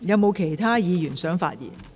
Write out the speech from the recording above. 是否有其他議員想發言？